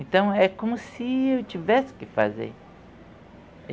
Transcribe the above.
Então é como se eu tivesse que fazer.